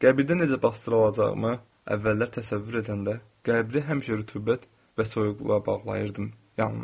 Qəbirdə necə basdırılacağımı əvvəllər təsəvvür edəndə qəbri həmişə rütubət və soyuqluğa bağlayırdım yalnız.